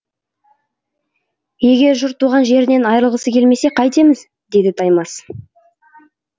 егер жұрт туған жерінен айырылғысы келмесе қайтеміз деді таймас